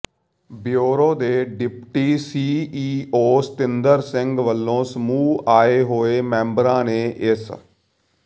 bureau ਦੇ deputy CEO Satinder Singh ਵੱਲੋਂ ਸਮੂਹ ਆਏ ਹੋਏ ਮੈਂਬਰਾਂ ਨੇ ਇਸ